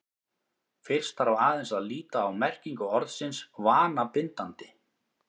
fyrst þarf aðeins að líta á merkingu orðsins „vanabindandi“